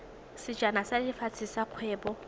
sejana sa lefatshe sa kgwele